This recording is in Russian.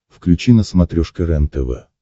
включи на смотрешке рентв